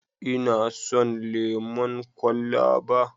Ina son lemon kwalaba.